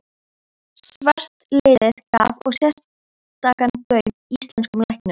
Svartliðið gaf og sérstakan gaum íslenskum læknum.